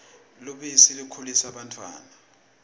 lubisi likhulisa bantfwana